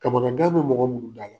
Kamanagan be mɔgɔ munnu da la